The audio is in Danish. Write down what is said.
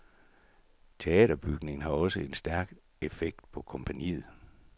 Teaterbygningen har også en stærk effekt på kompagniet.